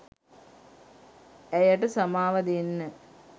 ඇයට සමාව දෙන්න